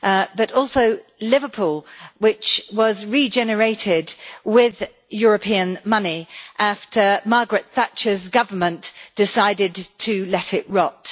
but also Liverpool, which was regenerated with European money after Margaret Thatcher's government decided to let it rot.